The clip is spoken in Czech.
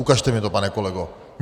Ukažte mně to, pane kolego.